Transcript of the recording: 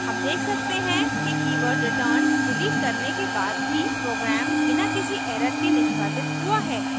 हम देख सकते हैं कि कीवर्ड return डिलीट करने के बाद भी प्रोग्राम बिना किसी एरर के निष्पादित हुआ है